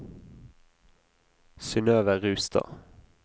Synøve Rustad